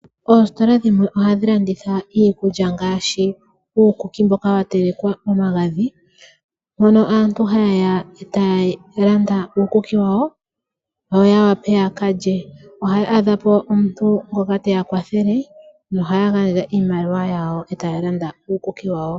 Oositola dhimwe ohadhi landitha iikulya ngaashi uukuki mboka wa telekwa momagadhi, hono aantu haye ya etaya landa uukuki wawo, yoya wape ya kalye. Ohaya adha po omuntu ngoka teya kwathele, nohaya gandja iimaliwa yawo etaya landa uukuki wawo.